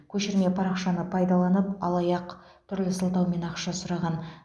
көшірме парақшаны пайдаланып алаяқ түрлі сылтаумен ақша сұраған